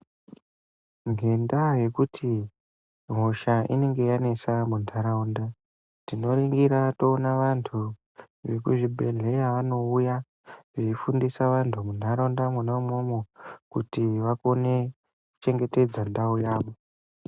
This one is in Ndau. Nendaa yekuti hosha inenge yanetsa muntaraunda ,tinoringira toone vantu vekuzvibhehlera vanouya veyifundisa antu muntaraunda imomo kuti vagone kuchengetedza ntawu yavo.